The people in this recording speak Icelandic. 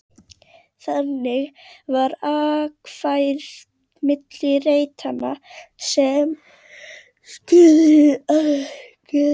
Þannig var akfært milli reitanna sem skurðirnir afmörkuðu.